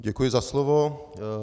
Děkuji za slovo.